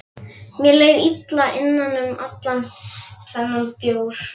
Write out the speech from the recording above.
Mér leið illa innan um allan þennan bjór.